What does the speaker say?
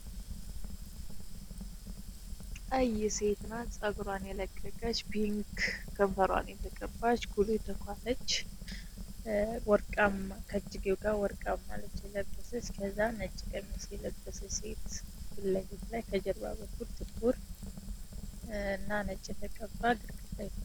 ቀይ ሴት ናት ጸግሯን የለቀቀች ፒንክ ከንፈሯን የተቀባች ኩሎ ተኳለች ወርቃምና ልብስ የለበሰ ከህዛን ነጭ ቀሚስ የለበሰች ሴት ፊት ለፊት ላይ ከጀርባ በኩል ጥቁር እና ነጭ የተቀባ ግድግደ ላይ ናት።